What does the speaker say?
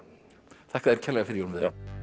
þakka þér kærlega fyrir Jón Viðar